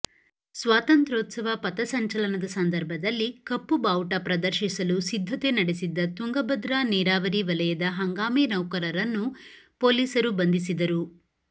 ಸ್ವಾತಂತ್ರ್ಯೋತ್ಸವ ಪಥಸಂಚನಲದ ಸಂದರ್ಭದಲ್ಲಿ ಕಪ್ಪು ಬಾವುಟ ಪ್ರದರ್ಶಿಸಲು ಸಿದ್ದತೆ ನಡೆಸಿದ್ದತುಂಗಭದ್ರಾ ನೀರಾವರಿ ವಲಯದ ಹಂಗಾಮಿ ನೌಕರರನ್ನು ಪೊಲೀಸರು ಬಂಧಿಸಿದರು